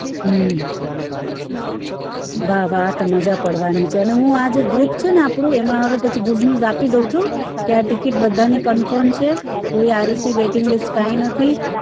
હમ વાહ વાહ આ તો મજા પડવાની છે અને હું આજે group છે ને આપણું એમાં હવે પછી good news આપી દવ છું કે આ ticket બધાની confirm છે કોઈ RAC waiting list કાઈ નથી